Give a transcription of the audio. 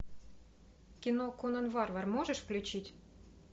кино конан варвар можешь включить